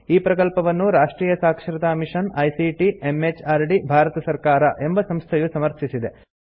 ಈ ಪ್ರಕಲ್ಪವನ್ನು ರಾಷ್ಟ್ರಿಯ ಸಾಕ್ಷರತಾ ಮಿಷನ್ ಐಸಿಟಿ ಎಂಎಚಆರ್ಡಿ ಭಾರತ ಸರ್ಕಾರ ಎಂಬ ಸಂಸ್ಥೆಯು ಸಮರ್ಥಿಸಿದೆ